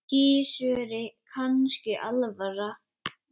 Gissuri kannski alvara.